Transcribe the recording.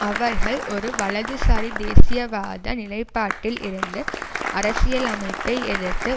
அவர்கள் ஒரு வலதுசாரி தேசியவாத நிலைப்பாட்டில் இருந்து அரசியலமைப்பை எதிர்த்து